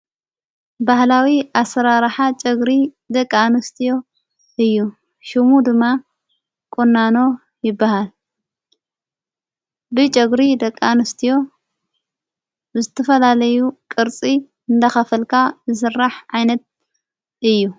ባህላዊ ኣሠራራኃ ጨግሪ ደቃእንስትዮ እዩ ሹሙ ድማ ቖናኖ ይበሃል ብጨግሪ ደቃእንስትዮ ብስትፈላለዩ ቕርፂ እንተኸፈልካ ዝሠራሕ ዓይነት እዩ።